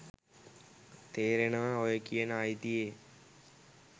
තේරෙනව ඔය කියන අයිතියේ